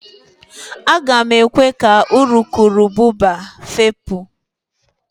Aga m ekwe ka urukurubụba fepụ